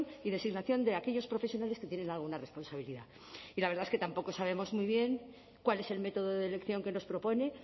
y designación de aquellos profesionales que tienen alguna responsabilidad y la verdad es que tampoco sabemos muy bien cuál es el método de elección que nos propone